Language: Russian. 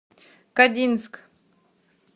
кодинск